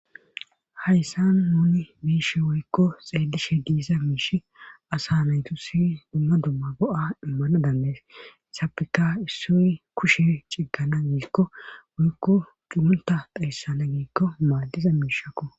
hayssan nuni miishe woykko xeelishe diiza miishi asa naytu si dumma dumma go7a immana dammes sapika issoy kushe ciggana giikko woykko cumunta dhayssana giikko maaddiza miishakko